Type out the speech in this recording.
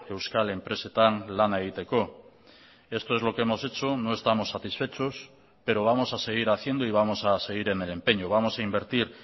euskal enpresetan lana egiteko esto es lo que hemos hecho no estamos satisfechos pero vamos a seguir haciendo y vamos a seguir en el empeño vamos a invertir